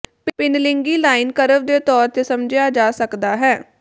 ਭਿੰਨਲਿੰਗੀ line curve ਦੇ ਤੌਰ ਤੇ ਸਮਝਿਆ ਜਾ ਸਕਦਾ ਹੈ